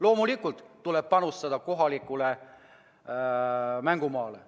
Loomulikult tuleb siis panustada kohalikule mängumaale.